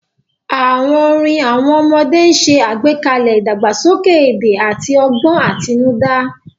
Àwọn orin àwọn ọmọdé ń ṣe àgbékalẹ̀ ìdàgbàsókè èdè àti ọgbọ́n àtinúdá.